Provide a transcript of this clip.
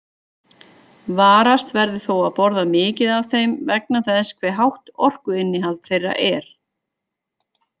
Varast verður þó að borða mikið af þeim vegna þess hve hátt orkuinnihald þeirra er.